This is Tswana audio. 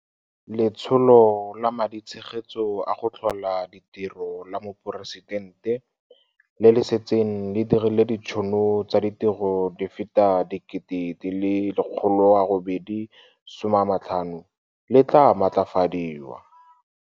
Letsholo la Maditshegetso a go Tlhola Ditiro la Moporesitente, le le setseng le dirile ditšhono tsa ditiro di feta di le 850 000, le tla maatlafadiwa.